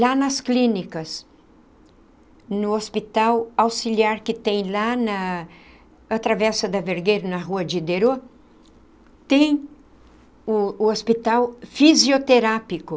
Lá nas clínicas, no hospital auxiliar que tem lá na atravessa da Vergueiro, na Rua de, tem o o hospital fisioterápico.